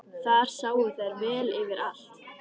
Þar sáu þær vel yfir allt.